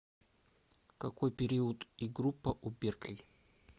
какой период и группа у берклий